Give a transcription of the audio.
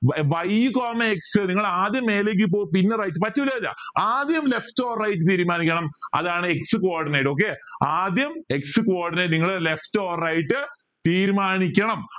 y coma x നിങ്ങൾ ആദ്യം മേലേക്ക് പോകും പിന്നെ right പറ്റില്ല ആദ്യം left or right തീരുമാനിക്കണം അതാണ് x coordinate okay ആദ്യം x coordinate നിങ്ങളെ left or right തീരുമാനിക്കണം